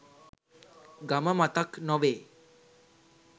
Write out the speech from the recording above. ගම මතක් නොවේ.